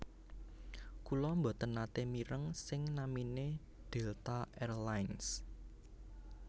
Kula mboten nate mireng sing namine Delta Air Lines